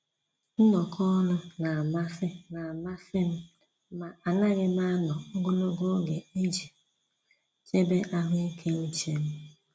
Nnọkọ ọnụ n'amasị n'amasị m, ma anaghị m anọ ogologo oge iji chebe ahụike uche m.